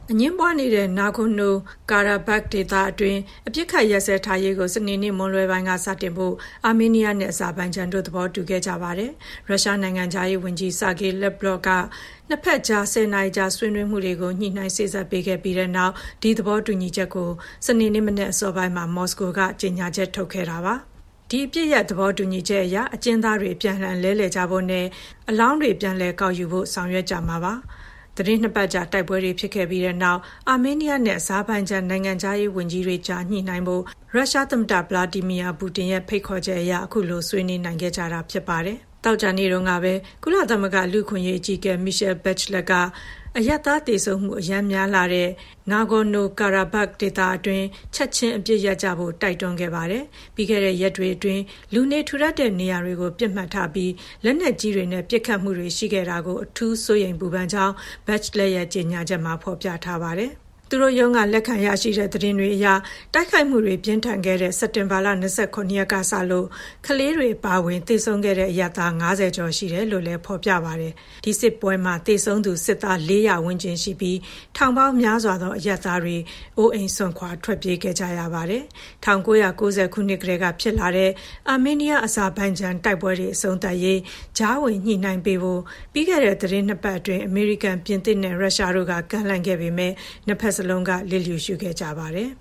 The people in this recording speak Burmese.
အငြင်းပွားနေတဲ့ Nagorno-Karabakh ဒေသတွင်း အပစ်အခတ်ရပ်စဲထားရေးကို စနေနေ့မွန်းလွဲပိုင်းက စတင်ဖို့ အာမေးနီးယားနဲ့ အဇာဘိုင်ဂျန်တို့ သဘောတူခဲ့ကြပါတယ်။ ရုရှားနိုင်ငံခြားရေးဝန်ကြီး Sergey Lavrov က နှစ်ဖက်ကြား ၁၀ နာရီကြာ ဆွေးနွေးမှုတွေကို ညှိနှိုင်းစေ့စပ်ပေးခဲ့ပြီးနောက် ဒီသဘောတူညီချက်ကို စနေနေ့အစောပိုင်းမှာ မော်စကိုကနေ ကြေညာချက် ထုတ်ခဲ့တာပါ။ ဒီ အပစ်ရပ်သဘောတူညီချက်အရ အကျဉ်းသားတွေ အပြန်အလှန် လဲလှယ်ကြဖို့နဲ့ သေဆုံးတဲ့အလောင်းတွေ ပြန်လည်ကောက်ယူဖို့ ဆောင်ရွက်ကြမှာ ဖြစ်ပါတယ်။ သီတင်းနှစ်ပတ်ကြာ တိုက်ပွဲတွေ ဖြစ်ခဲ့ကြပြီးတဲ့နောက် အာမေးနီးယားနဲ့ အဇာဘိုင်ဂျန် နိုင်ငံခြားရေးဝန်ကြီးတွေကြား ညှိနှိုင်းကြဖို့ ရုရှားသမ္မတ Vladimir Putin ရဲ့ ဖိတ်ခေါ်ချက်အရ အခုလို ဆွေးနွေးနိုင်ခဲ့ကြတာပါ။ သောကြာနေ့တုန်းကပဲ ကုလသမဂ္ဂ လူ့အခွင့်အရေး အကြီးအကဲ Michelle Bachelet က အရပ်သားသေဆုံးမှု အရမ်းများလှတဲ့ Nagorno-Karabakh ဒေသတွင်း “ချက်ချင်း အပစ်ရပ်” ကြဖို့ တိုက်တွန်းခဲ့တာပါ။ ပြီးခဲ့တဲ့ရက်တွေအတွင်း လူနေထူထပ်တဲ့ နေရာတွေကို ပစ်မှတ်ထားပြီး လက်နက်ကြီးတွေနဲ့ ပစ်ခတ်မှုတွေ ရှိခဲ့တာကို အထူးစိုးရိမ်ပူပန်ကြောင်း Bachelet ရဲ့ ကြေညာချက်မှာ ဖော်ပြထားပါတယ်။ သူတို့ရုံးက လက်ခံရရှိတဲ့ သတင်းတွေအရ တိုက်ခိုက်မှုတွေ ပြင်းထန်ခဲ့တဲ့ စက်တင်ဘာ ၂၇ ရက်ကစလို့ ကလေးတွေအပါအဝင် သေဆုံးခဲ့တဲ့ အရပ်သား ၅၀ ကျော်ရှိတယ်လို့လည်း ဖော်ပြထားပါတယ်။ ဒီစစ်ပွဲမှာ သေဆုံးသူ စစ်သား ၄၀၀ ဝန်းကျင်ရှိပြီး ထောင်ပေါင်းများစွာသော အရပ်သားတွေ အိုးအိမ်စွန့်ခွာ ထွက်ပြေးခဲ့ကြရပါတယ်။ ၁၉၉၀ ကတည်းက ဖြစ်လာတဲ့ အာမေးနီးယား-အဇာဘိုင်ဂျန် တိုက်ပွဲတွေ အဆုံးသတ်ရေး ကြားဝင်ညှိနှိုင်းပေးဖို့ ပြီးခဲ့တဲ့ သီတင်းနှစ်ပတ်အတွင်း အမေရိကန်၊ ပြင်သစ်နဲ့ ရုရှားတို့က ကမ်းလှမ်းခဲ့ပေမယ့် နှစ်ဖက်စလုံးက လျစ်လျူရှုခဲ့ကြပါတယ်